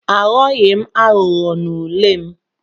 Aghọghị m aghụghọ n'ule m.